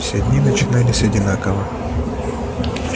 все дни начинались одинаково